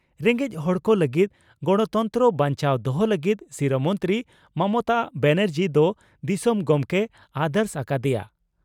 "ᱨᱮᱸᱜᱮᱡ ᱦᱚᱲ ᱠᱚ ᱞᱟᱹᱜᱤᱫ ᱜᱚᱬᱚᱛᱚᱱᱛᱨᱚ ᱵᱟᱧᱪᱟᱣ ᱫᱚᱦᱚ ᱞᱟᱹᱜᱤᱫ ᱥᱤᱨᱟᱹ ᱢᱚᱱᱛᱨᱤ ᱢᱚᱢᱚᱛᱟ ᱵᱟᱱᱟᱨᱡᱤ ᱫᱚ ᱫᱤᱥᱚᱢ ᱜᱚᱢᱠᱮᱭ ᱟᱨᱫᱟᱥ ᱟᱠᱟ ᱫᱮᱭᱟ ᱾